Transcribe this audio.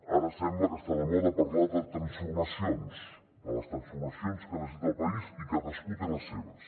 ara sembla que està de moda parlar de transformacions de les transformacions que necessita el país i cadascú té les seves